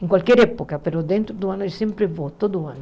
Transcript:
Em qualquer época, mas dentro do ano eu sempre vou, todo ano.